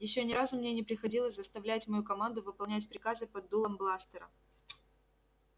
ещё ни разу мне не приходилось заставлять мою команду выполнять приказы под дулом бластера